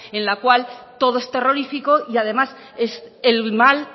en la cual todo es terrorífico y además es el mal